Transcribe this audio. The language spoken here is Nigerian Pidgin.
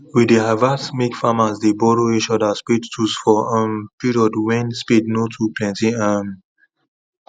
we dey advice make farmers dey borrow each other spade tools for um period wen spade nor too plenty um